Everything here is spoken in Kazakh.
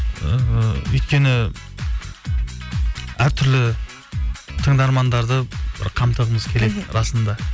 ыыы өйткені әртүрлі тыңдармандарды бір қамтығымыз келеді расында